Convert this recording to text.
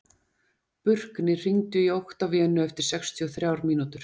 Burkni, hringdu í Oktavíönu eftir sextíu og þrjár mínútur.